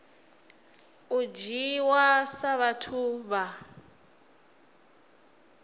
u dzhiiwa sa vhathu vha